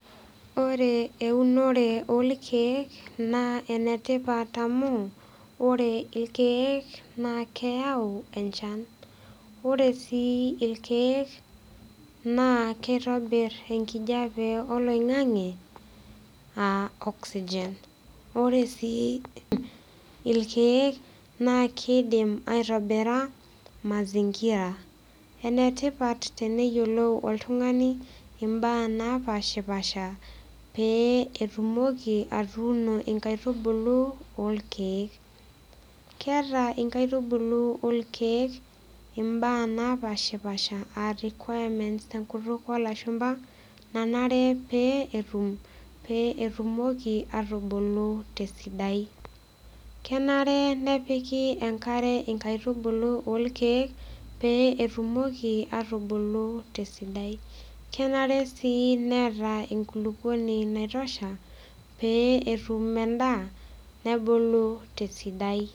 Ore eunore olkeek naa enetipat amu ore ilkeek naa keyau enchan ore sii ilkeek naa kitobirr enkijape oloing'ang'e aa oxygen ore sii ilkeek naakidim aitobira mazingira enetipat teneyiolou oltung'ani imbaa napashipasha pee etumoki atuuno inkaitubulu olkeek keeta inkaitubulu olkeek imbaa napashipasha aa requirements tenkutuk olashumpa nanare pee etum pee etumoki atubulu tesidai kenare nepiki enkare inkaitubulu olkeek pee etumoki atubulu tesidai kenare sii neeta enkulupuoni naitosha pee etum endaa nebulu tesidai.